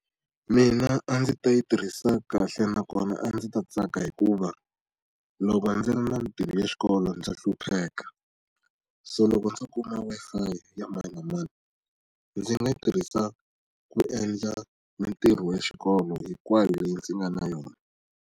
Mina a ndzi ta yi tirhisa kahle nakona a ndzi ta tsaka hikuva, loko ndzi ri na ntirho ya xikolo ndza hlupheka. So loko ndzo kuma Wi-Fi ya mani na mani, ndzi nga yi tirhisa ku endla mitirho ya xikolo hinkwayo leyi ndzi nga na yona.